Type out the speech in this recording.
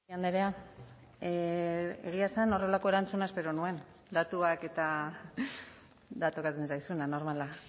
andrea egia esan horrelako erantzuna espero nuen datuak eta da tokatzen zaizuna normala